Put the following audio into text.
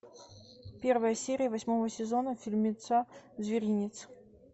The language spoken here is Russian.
первая серия восьмого сезона фильмеца зверинец